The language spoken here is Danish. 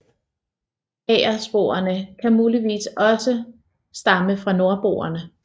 Agersporene kan muligvis også stamme fra nordboerne